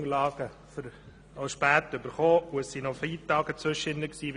Wir haben die Unterlagen spät erhalten und es waren noch Feiertage während dieser Zeit.